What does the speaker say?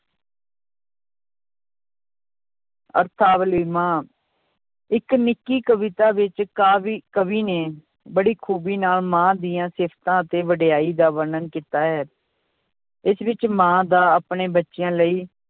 ਇੱਕ ਨਿੱਕੀ ਕਵਿਤਾ ਵਿੱਚ ਕਾਵੀ ਕਵੀ ਨੇ ਬੜੀ ਖੂਬੀ ਨਾਲ ਮਾਂ ਦੀਆਂ ਸਿਫ਼ਤਾਂ ਅਤੇ ਵਡਿਆਈ ਦਾ ਵਰਣਨ ਕੀਤਾ ਹੈ, ਇਸ ਵਿੱਚ ਮਾਂ ਦਾ ਆਪਣੇ ਬੱਚਿਆਂ ਲਈ